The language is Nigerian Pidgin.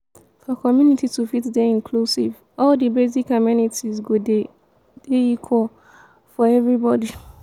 for community to fit dey inclusive all di basic amenities go dey dey equal and for everybody